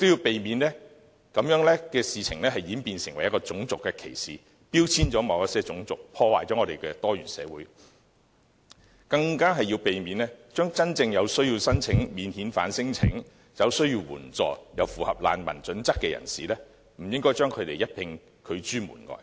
我們亦要避免事情演變成種族歧視，標籤了某些種族，破壞我們的多元社會；更要避免將真正有需要申請免遣返聲請、有需要援助又符合難民準則的人遭一併拒諸門外。